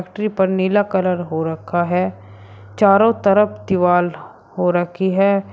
Factory पर नीला colour हो रखा है चारों तरफ दीवाल हो रखी है।